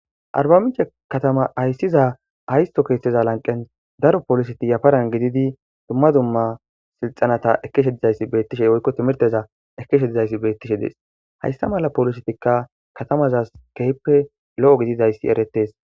Arbamiche katama hayssiza haysto keeshteza lanqen daro poliseti yafaran gididi dumma dumma silxanata ekeshe dizayssi beettishe oykko timirteza ekeshe dizayssi beettishe dees hayssa mala poolisetikka katamaza keppe lo'o gididayssi eretes.